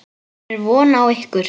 Hvenær er von á ykkur?